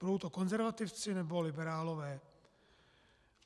Budou to konzervativci, nebo liberálové?